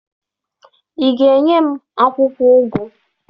Ị ga-enye m akwụkwọ ụgụ?